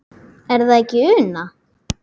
Er það ekki Una?